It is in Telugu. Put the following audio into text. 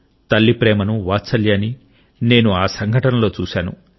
తల్లి ప్రేమను వాత్సల్యాన్ని నేను ఆ సంఘటనలో చవిచూశాను